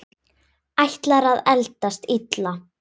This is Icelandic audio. Ætlar að eldast illa.